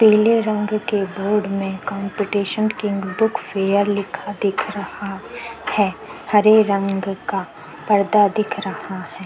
पिले रंग के बोर्ड में कॉमपीटीशन किंग बुक फेयर लिखा दिख रहा है हरे रंग का पर्दा दिख रहा है।